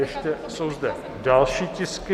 Ještě jsou zde další tisky.